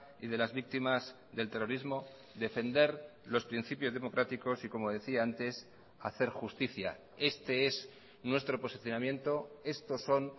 y de las víctimas del terrorismo defender los principios democráticos y como decía antes hacer justicia este es nuestro posicionamiento estos son